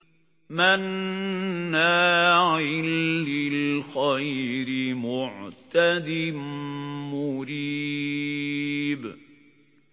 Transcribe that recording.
مَّنَّاعٍ لِّلْخَيْرِ مُعْتَدٍ مُّرِيبٍ